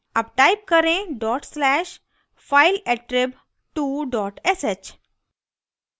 अब type करें dot slash fileattrib2 dot sh